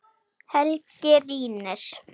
Helgi rýnir.